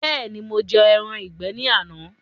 Bẹẹni, mo jẹ ẹran ìgbé ní àná.